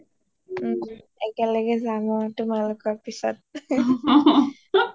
ও একেলগে যাম আৰু তোমালোকৰ পিছত